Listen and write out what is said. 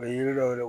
A ye yiri dɔw wele